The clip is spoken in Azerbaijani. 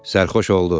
Sərxoş oldu.